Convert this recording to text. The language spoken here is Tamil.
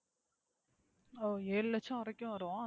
ஓ ஏழு லட்சம் வரைக்கும் வரும்.